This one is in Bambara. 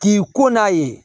K'i ko n'a ye